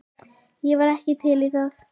Ég var ekki til í það.